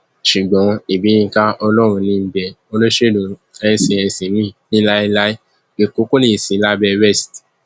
ṣùgbọn ibiyinka ọlọrunníḿbẹ olóṣèlú n cnc míín ní láéláé èkó kò ní í sí lábẹ west